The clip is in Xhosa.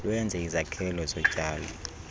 lwenze izakhelo zotyalo